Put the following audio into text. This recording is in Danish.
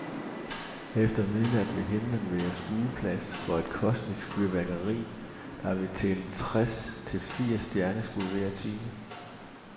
Efter midnat vil himlen være skueplads for et kosmisk fyrværkeri, der vil tælle tres til firs stjerneskud hver time.